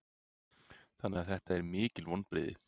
Þannig að þetta eru mikil vonbrigði?